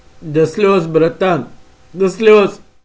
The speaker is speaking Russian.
до слёз братан до слёз